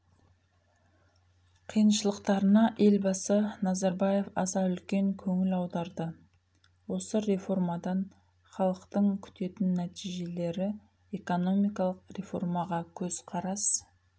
қиыншылықтарына елбасы назарбаев аса үлкен көңіл аударды осы реформадан халықтың күтетін нәтижелері экономикалық реформаға көзқарас